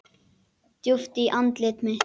Djúpt í andlit mitt.